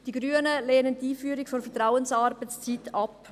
Die Grünen lehnen die Einführung der Vertrauensarbeitszeit ab.